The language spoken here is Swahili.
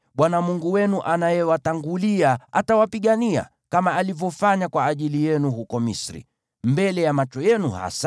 Bwana Mungu wenu anayewatangulia, atawapigania, kama alivyofanya kwa ajili yenu huko Misri, mbele ya macho yenu hasa,